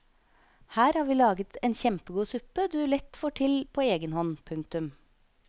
Her har vi laget en kjempegod suppe du lett får til på egen hånd. punktum